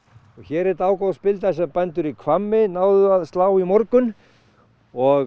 og hér er dágóð spilda sem bændur í Hvammi náðu að slá í morgun og